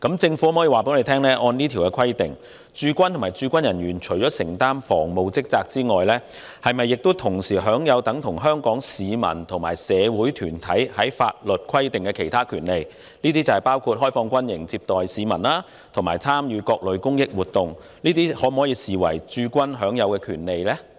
政府可否告知本會，按照這項規定，駐軍和駐軍人員除了承擔防務職責外，是否同時享有等同香港市民和社會團體法律所規定的其他權利，包括開放軍營接待市民及參與各類公益活動，這些可否視為駐軍部隊享有的權利？